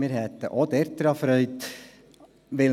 Wir hätten auch daran Freude.